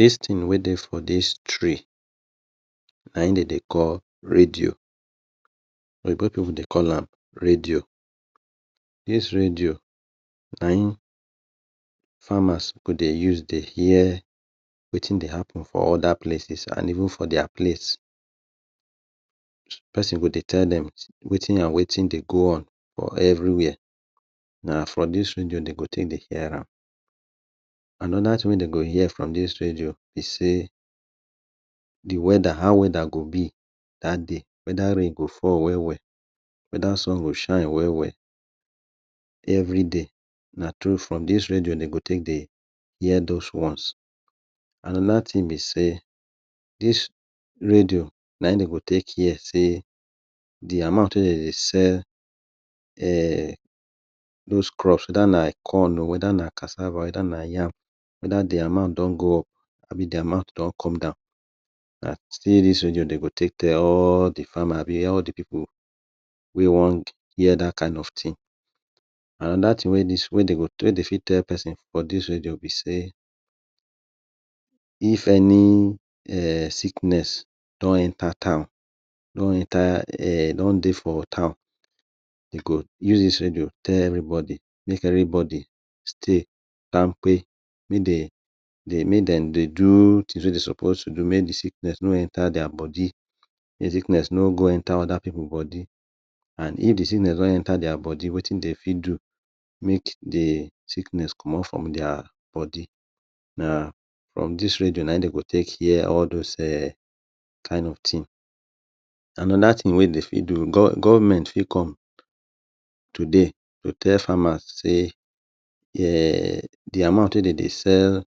Dis thing wey dey for dis tray, nayin dey dey call radio. Oyibo people dey call am radio. Dis radio nayin farmer go dey use dey hear wetin dey happen for other places and even for their place. Pesin go dey tell dem, wetin and wetin dey go on for everywhere. Na for dis radio dey go take dey hear am. Another thing wey dey go hear from dis radio be say, the weather how weather go be dat day. Whether, rain go fall well well, whether sun go shine well well. Everyday, na through, from dis radio dey go take dey hear those ones.another thing be say, dis radio nayin dey go take hear say, the amount wey dey dey sell, um Those crops whether na, corn oh! Whether na cassava, whether na yam, whether the amount don go up abi the amount don come down. Na still dis radio dey go take tell all the farmers abi all the pipu wey wan hear dat kind of thing. Another thing wey, wey dey fit tell pesin for dis radio be say, if any um Sickness don enter town. Don enter um Don dey for town. Dey go use dis radio tell everybody. Make everybody stay kampe. Make dey, make dem dey do wetin dem suppose to do. Make the sickness no enter their body. Make the sickness no go enter other people body. And if the sickness don enter their body, wetin dey fit do, make the sickness comot from their body. Na, from dis radio nayin dey go take hear all those kin of thing. Another thing wey dey fit do, government fit come today to tell farmers say,[um] the amount wey dey dey sell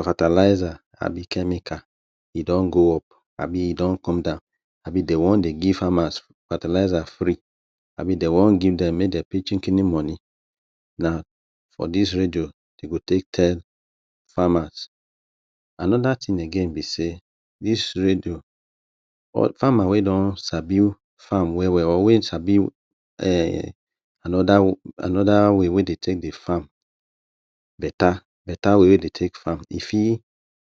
fertilizer abi chemical e don go up abi e don come down. Abi dey wan dey give farmers fertilizers free. Abi dey wan give dem make dem pay chikin moni. Na for dis radio, dey go take tell farmers. Another thing again be say, dis radio, farmer wey don sabi farm well well. Or wey sabi um Another way wey dey take farm, better way wey dey dey take farm. E fit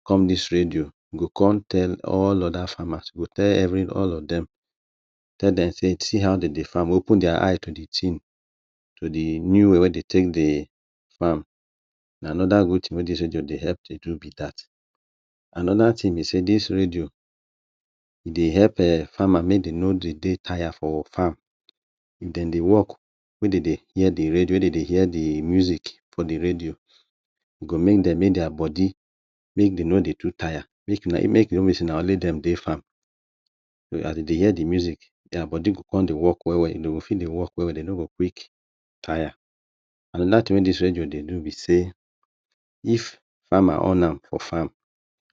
come dis radio, e go con tell all other farmers, e go tell every, all of dem. Tell dem say, see how dey de farm. Open their eye to the thing. To the new way wey dey dey farm. Na another good thing wey dis radio dey help dey do be dat. Another thing be say dis radio, e dey help farmer um make dem no dey taya for farm. Dem dey work, wey dey dey hear the radio. Hear the music for the radio. E go make dem make their body, make dem no too taya. Make e no be like say na only dem dey farm. As dey dey hear the music, their body go dey work well well. Dey go fit dey work well well, dey no go quick taya. Another thing wey dis radio dey do be say, if farmer on am for farm,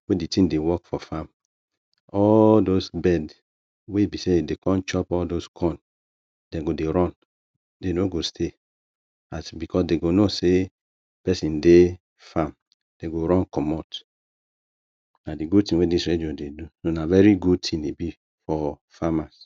wey the thing dey work for farm, all those bird, wey be say dey dey come chop corn, dem go dey run. Dey no go stay because dey know say pesin dey farm. Dey go run comot. Na the good thing wey dis radio dey do. Na very good thing e be for farmers.